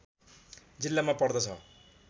जिल्लामा पर्दछ